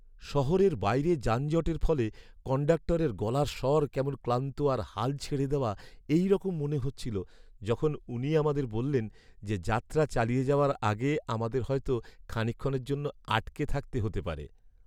শহরের বাইরে যানজটের ফলে কণ্ডাক্টরের গলার স্বর কেমন ক্লান্ত আর হাল ছেড়ে দেওয়া এইরকম মনে হচ্ছিল যখন উনি আমাদের বললেন যে, যাত্রা চালিয়ে যাওয়ার আগে আমাদের হয়তো খানিকক্ষণের জন্য আটকে থাকতে হতে পারে।